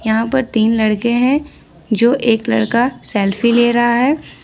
यहां पर तीन लड़के हैं जो एक लड़का सेल्फी ले रहा है।